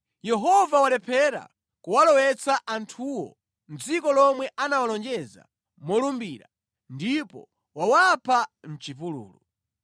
‘Yehova walephera kuwalowetsa anthuwo mʼdziko lomwe anawalonjeza molumbira, ndipo wawapha mʼchipululu.’